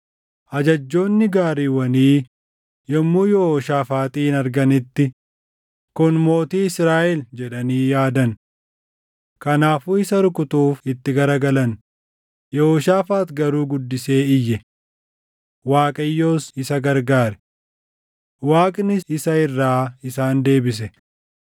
Ajajjoonni gaariiwwanii yommuu Yehooshaafaaxin arganitti, “Kun mootii Israaʼel” jedhanii yaadan. Kanaafuu isa rukutuuf itti garagalan; Yehooshaafaax garuu guddisee iyye; Waaqayyos isa gargaare. Waaqnis isa irraa isaan deebise;